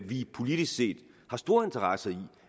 vi politisk set har store interesser i